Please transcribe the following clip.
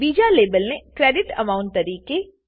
બીજા લેબલને credit amount તરીકે